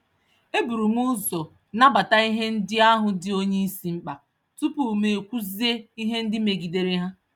Eburum ụzọ nabata ihe ndị ahụ dị onyeisi mkpa, tupu mụ kwuzie ihe ndị megidere ha